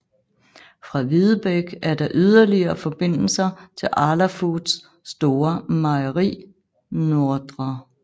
Fra Videbæk er der yderligere forbindelser til Arla Foods store mejeri Nr